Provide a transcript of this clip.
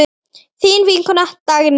Þín vinkona Dagný.